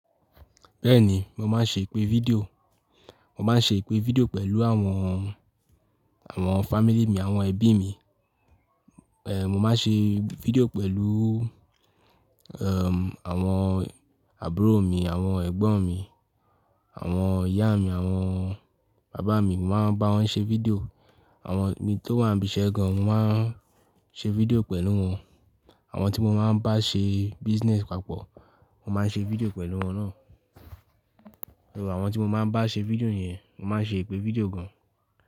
Bẹ́ẹ̀ni, mo máa ń ṣe ìpè fídíò. Mo máa ń ṣe ìpè fídíò pẹ̀lú àwọn, àwọn family mi, àwọn ẹbí mi. Mo máa ń ṣe fídíò pẹ̀lú àwọn àbúrò mi, àwọn ẹ̀gbọ́n mi, àwọn ìyá mi, àwọn bàbá mi. Mo máa ń bá wọn ṣe fídíò. Awon te mi to wa nibi ise gan an, mo maa n se fidio pelu won. Àwọn tí mo máa ń bá ṣe business papọ̀ mo máa ń ṣe fídíò pẹ̀lú wọn náà. Àwọn tí mo máa ń bá ṣe fídíò yẹn, mo máa ń ṣe ìpè fídíò gan.